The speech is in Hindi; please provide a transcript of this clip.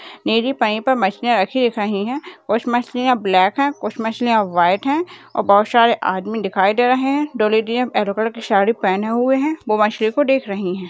नीली पन्नी पे मछलियाँ रखी दिख रहीं हैं कुछ मछलियाँ ब्लैक हैं कुछ मछलियाँ वाइट हैं और बहोत सारे आदमी दिखाई दे रहे हैं दो लेडियाँ येलो कलर की साड़ी पहने हुए हैं वो मछलियों को देख रहीं हैं।